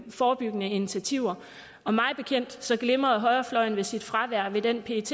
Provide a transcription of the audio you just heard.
forebyggende initiativer og mig bekendt glimrede højrefløjen ved sit fravær ved den pet